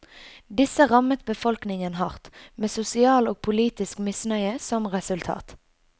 Disse rammet befolkningen hardt, med sosial og politisk misnøye som resultat.